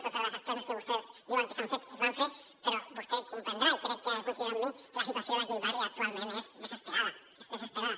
totes les accions que vostès diuen que s’han fet es van fer però vostè deu comprendre i crec que deurà coincidir amb mi que la situació d’aquell barri actualment és desesperada és desesperada